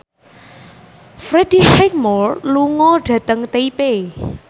Freddie Highmore lunga dhateng Taipei